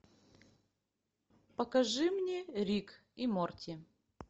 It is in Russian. покажи мне рик и морти